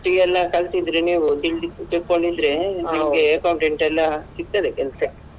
ಎಲ್ಲ ಕಲ್ತಿದ್ರೆ ನೀವು ತಿಳ್~ ತಿಳ್ಕೊಂಡಿದ್ರೆ ನಿಮ್ಗೆ accountant ಎಲ್ಲ ಸಿಗ್ತದೆ ಕೆಲ್ಸ.